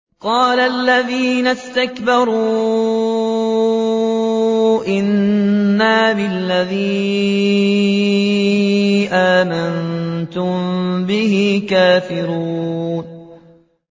قَالَ الَّذِينَ اسْتَكْبَرُوا إِنَّا بِالَّذِي آمَنتُم بِهِ كَافِرُونَ